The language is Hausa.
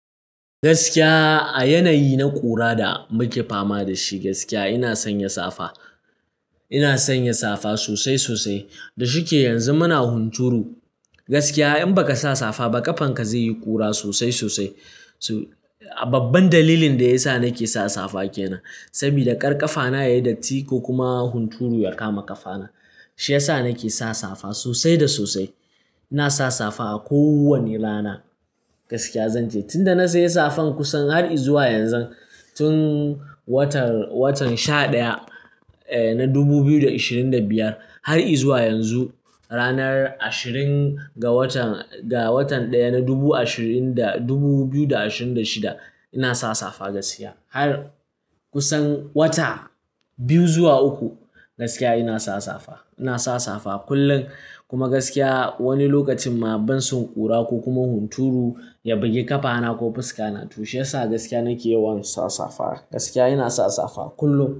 Gaskiya a yanayi na ƙura da muke fama da shi, gaskiya ina sanya safa. Ina sanya safa sosai sosai. Da shuke yanzu muna hunturu. Gaskiya in baka sa safa ba ƙafanka zai yi ƙura sosai sosai. Babban dalilin da ya sa nake sa safa kenan. Saboda ƙarƙafana yayi datti ko kuma hunturu ya kama ƙafana. Shi ya sa nake sa safa sosai da sosai. Ina sa safa a kowane rana gaskiya zan ce. Tunda na sayi safan kusan har izuwa yanzu. Tun watan sha ɗaya na dubu biyu da ashirin da biyar har izuwa yanzu ranar ashirin ga watan ɗaya na dubu biyu da ashirin da shida ina sa safa gaskiya. Har kusan wata biyu zuwa uku gaskiya ina sa safa. Ina sa safa kullum kuma gaskiya wani lokacin ma bansan ƙura ko kuma hunturu ya buge ƙafana ko fiska na to shi ya sa gaskiya nake yawan sa safa. Gaskiya ina sa safa kullum.